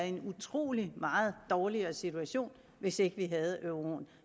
en utrolig meget dårligere situation hvis ikke vi havde euroen